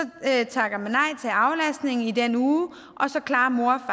takker man nej til aflastning i den uge og så klarer mor og